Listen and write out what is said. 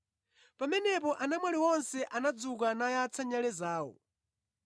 “Pamenepo anamwali onse anadzuka nayatsa nyale zawo.